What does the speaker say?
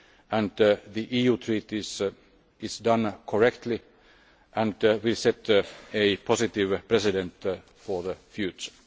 and the EU Treaties is done correctly and will set a positive precedent for the future.